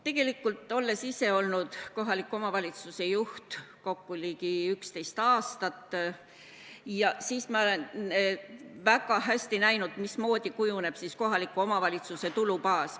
Tegelikult, olles ise olnud kohaliku omavalistuse juht kokku ligi 11 aastat, ma olen väga hästi näinud, mismoodi kujuneb kohaliku omavalitsuse tulubaas.